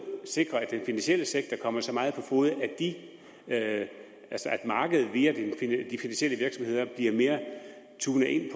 sikre at den finansielle sektor kommer så meget på fode at markedet via de finansielle virksomheder bliver mere tunet ind